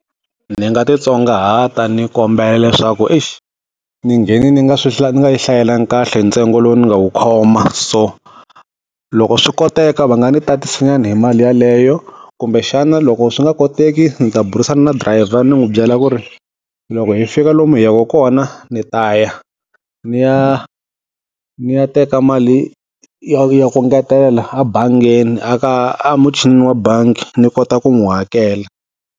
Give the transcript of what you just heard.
Ndzi nga titsongahata ni kombela leswaku . Ndzi nghene ndzi nga swi ndzi nga yi hlayelangi kahle ntsengo lowu ndzi nga wu khoma. So, loko swi koteka va nga ndzi tatisa nyana hi mali yeleyo kumbexana loko swi nga koteki ndzi ta burisana na driver ndzi n'wi byela ku ri, loko hi fika lomu hi yaka kona ndzi ta ya ndzi ya ndzi ya teka mali ya ya ku ngetela abangeni aka muchini wa bangi ndzi kota ku n'wi hakela.